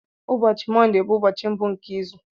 Ụbọchị Mọndé bụ ụbọchị mbụ nke izu.